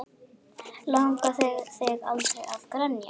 Langaði þig aldrei að grenja?